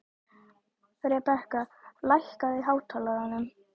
Rebekka, lækkaðu í hátalaranum.